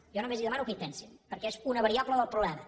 jo només li demano que hi pensin perquè és una variable del problema